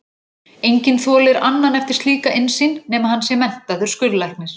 Enginn þolir annan eftir slíka innsýn, nema hann sé menntaður skurðlæknir.